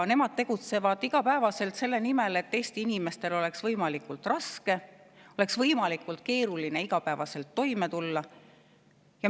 Nemad tegutsevad iga päev selle nimel, et Eesti inimestel oleks võimalikult raske, võimalikult keeruline toime tulla.